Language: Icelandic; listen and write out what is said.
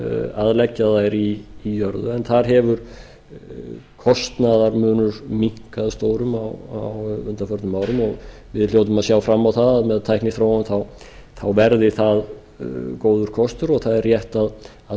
að leggja þær í jörðu en þar hefur kostnaðarmunur minnkað stórum á undanförnum árum og við hljótum að sjá fram á það að með tækniþróun verði það góður kostur og það er rétt að